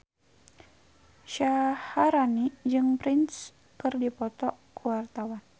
Syaharani jeung Prince keur dipoto ku wartawan